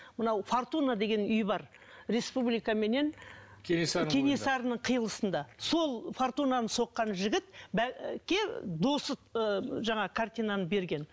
мынау фортуна деген үй бар республика менен кенесарының қиылысында сол фортунаны соққан жігіт досы ы жаңағы картинаны берген